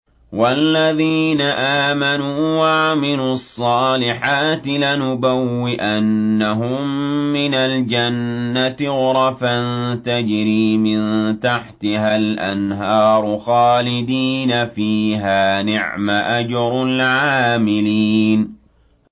وَالَّذِينَ آمَنُوا وَعَمِلُوا الصَّالِحَاتِ لَنُبَوِّئَنَّهُم مِّنَ الْجَنَّةِ غُرَفًا تَجْرِي مِن تَحْتِهَا الْأَنْهَارُ خَالِدِينَ فِيهَا ۚ نِعْمَ أَجْرُ الْعَامِلِينَ